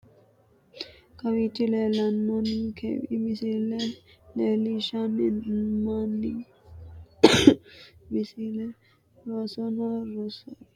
Kawiichi leelanonkewi misile leelishani moonke misile rosaano roso rose fulte minira hadhara baandeeru seera agarte bandeera dirise hadhara uuritino rosanooti.